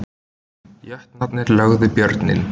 Jötnarnir lögðu Björninn